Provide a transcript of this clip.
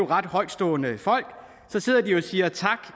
ret højtstående folk så sidder de og siger tak